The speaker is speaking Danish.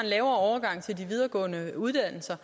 lavere overgang til de videregående uddannelser